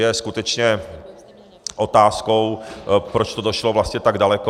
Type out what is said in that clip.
Je skutečně otázkou, proč to došlo vlastně tak daleko.